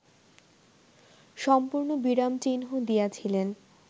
সম্পূর্ণ বিরাম-চিহ্ন দিয়াছিলেন